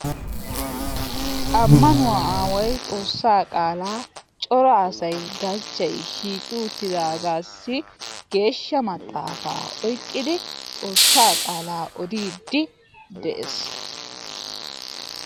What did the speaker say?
Ammanuwa awaay xoossaa qaala cora asay galchchay shiiqi uttidaagassi geeshsha maxaafa oyqqidi xoassaa qaala odiidi de'ees.